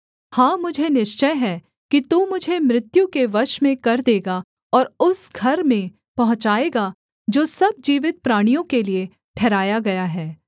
हाँ मुझे निश्चय है कि तू मुझे मृत्यु के वश में कर देगा और उस घर में पहुँचाएगा जो सब जीवित प्राणियों के लिये ठहराया गया है